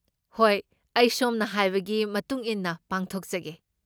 ꯍꯣꯏ, ꯑꯩ ꯁꯣꯝꯅ ꯍꯥꯏꯕꯒꯤ ꯃꯇꯨꯡ ꯏꯟꯅ ꯄꯥꯡꯊꯣꯛꯆꯒꯦ꯫